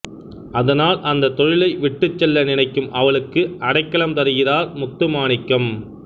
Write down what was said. அதனால் அந்தத் தொழிலை விட்டுச்செல்ல நினைக்கும் அவளுக்கு அடைக்கலம் தருகிறார் முத்து மாணிக்கம்